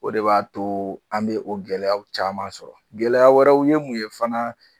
O de b'a to an bɛ o gɛlɛya caman sɔrɔ gɛlɛya wɛrɛ u ye mun ye fana